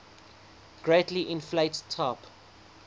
greatly inflate type